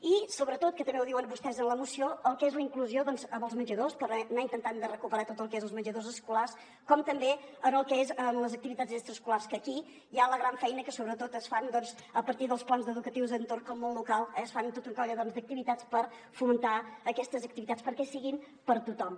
i sobretot que també ho diuen vostès en la moció el que és la inclusió als menjadors per anar intentant de recuperar tot el que és els menjadors escolars com també en el que és les activitats extraescolars que aquí hi ha la gran feina que sobretot es fa a partir dels plans educatius d’entorn que al món local es fan tota una colla d’activitats per fomentar aquestes activitats perquè siguin per a tothom